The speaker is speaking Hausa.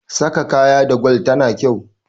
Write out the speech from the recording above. saka kaya da gwal tana kyau